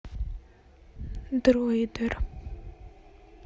дроидер